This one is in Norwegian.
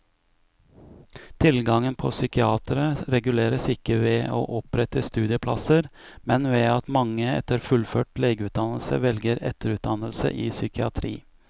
Tilgangen på psykiatere reguleres ikke ved å opprette studieplasser, men ved at mange etter fullført legeutdannelse velger etterutdannelse i psykiatri.